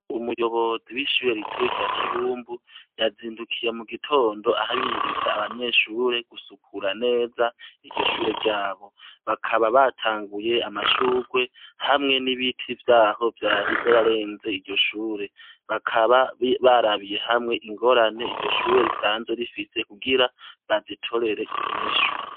Umuyobozi wishure ritoya rya Kibumbu yazindukiye mugitondo ahimiriza abanyeshure gusukura neza iryo shure ryabo, bakaba batanguye amashurwe hamwe n'ibiti vyaho vyari vyarenze iryo shure, bakaba barabiye hamwe ingorane iryo shure risanzwe rifise kugira bazitorere inyishu.